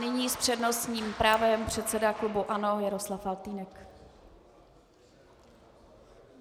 Nyní s přednostním právem předseda klubu ANO Jaroslav Faltýnek.